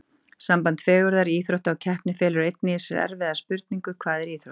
Samband fegurðar, íþrótta og keppni felur einnig í sér aðra erfiða spurningu: Hvað er íþrótt?